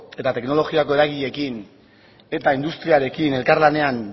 eta teknologiako eragileekin eta industrialekin elkarlanean